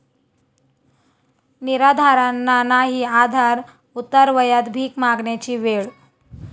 निराधारांना नाही आधार, उतारवयात भीक मागण्याची वेळ!